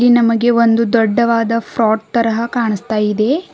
ನಮಗೆ ಒಂದು ದೊಡ್ಡದಾದ ಫ್ರಾಟ್ ತರಹ ಕಾಣಿಸ್ತಾ ಇದೆ.